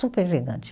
Super elegante